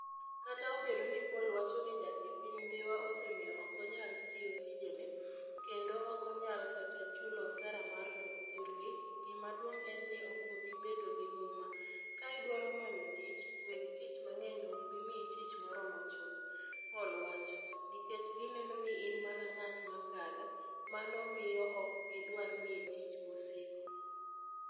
Kata obedo ni Paul wacho ni dak e piny Dhiwa osemiyo ok onyal tiyo tijene, kendo ok onyal kata chulo osara mar dok thurgi, gima duong ' en ni, ok obi bedo gi huma, ka idwaro manyo tich, weg tich mang'eny ok bi miyi tich moromo chuth", Paul wacho, "nikech gineno ni in mana ng'at ma kadho, mano miyo ok gidwar miyi tich mosiko.